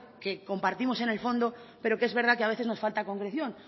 que compartimos en el fondo pero que es verdad que a veces nos falta concreción